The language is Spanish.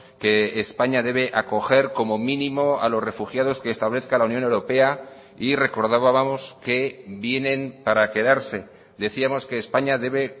que españa debe acoger como mínimo a los refugiados que establezca la unión europea y recordábamos que vienen para quedarse decíamos que españa debe